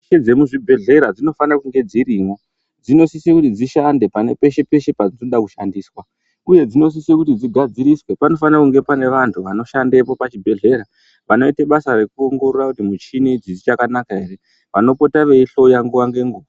Michini dzemuchibhedhlera dzinofanire kunge dzirimwo. Dzinosise kuti dzishande peshe peshe padzinoda kushandiswa uye dzinosise kuti dzigadziriswe panofanirwe kunge pane vanhu vanoshandapo pachibhedhlera vanoita basa rekuongorora kuti michini idzi dzichakanaka ere. Vanopota veihloya nguwa ngenguwa.